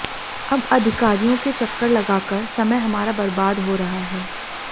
अब अधिकारियों के चक्कर लगाकर समय हमारा बर्बाद हो रहा है